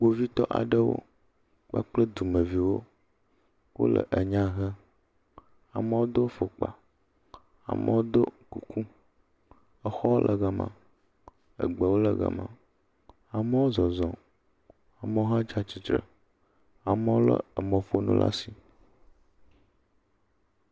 kpovitɔ aɖewo kpakple dumeviwo wóle enyà hem amowo dó fɔkpa amowo dó kuku exɔwo le gama egbewo le gama amowo zɔzɔm amowo hã tsatsitre amowo le emɔƒonu la si